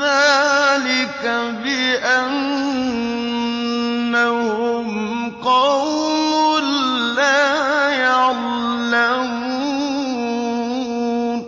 ذَٰلِكَ بِأَنَّهُمْ قَوْمٌ لَّا يَعْلَمُونَ